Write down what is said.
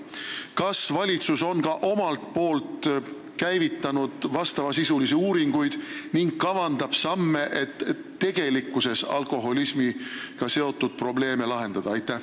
Kas valitsus on ka omalt poolt käivitanud vastavasisulisi uuringuid ja astub mingeid samme, et alkoholismiga seotud tegelikke probleeme lahendada?